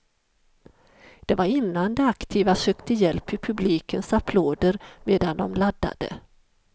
Det var innan de aktiva sökte hjälp i publikens applåder medan de laddade.